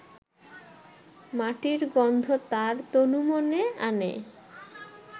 মাটির গন্ধ তাঁর তনুমনে আনে